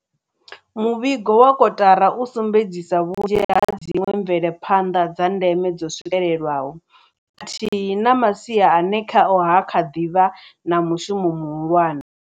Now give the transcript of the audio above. Muvhigo wa kotara u sumbedzisa vhunzhi ha dziṅwe mvelaphanḓa dza ndeme dzo swikelwaho, khathihi na masia ane khao ha kha ḓi vha na mushumo muhulwane.